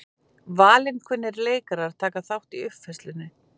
Valinkunnir leikarar taka þátt í uppfærslunni